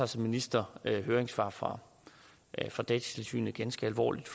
som minister tager høringssvar fra fra datatilsynet ganske alvorligt